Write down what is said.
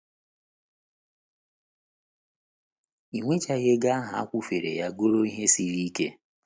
Iweghachi ego ahụ a kwụfere ya ghọrọ ihe siri ike.